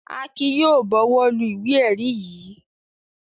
Akin yóò bọwọ́lu ìwé-ẹ̀rí yìí.